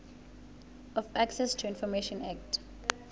of access to information act